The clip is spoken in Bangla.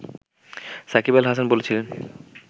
সাকিব আল হাসান বলছিলেন